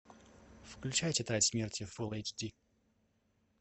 включай тетрадь смерти фул эйч ди